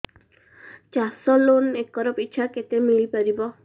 ଚାଷ loan acre ପିଛା କେତେ ମିଳି ପାରିବ